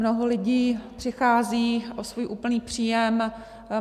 Mnoho lidí přichází o svůj úplný příjem.